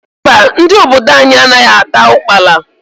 Mba, ndị obodo anyị anaghị ata ukpala.